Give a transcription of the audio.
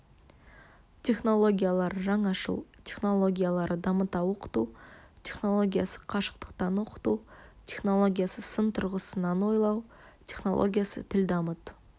технологиялары жаңашыл технологиялары дамыта оқыту технологиясы қашықтан оқыту технологиясы сын тұрғысынан ойлау технологиясы тіл дамыт